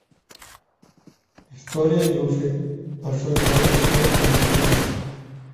история игрушек большой побег пола андерсена